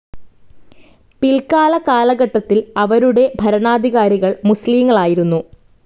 പിൽക്കാല കാലഘട്ടത്തിൽ അവരുടെ ഭരണാധികാരികൾ മുസ്ലിങ്ങളായിരുന്നു.